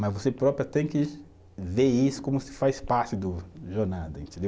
Mas você próprio tem que ver isso como se faz parte do, jornada, entendeu?